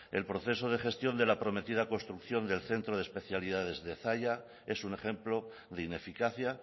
el proceso de gestión de la prometida construcción del centro de especialidades de zalla es un ejemplo de ineficacia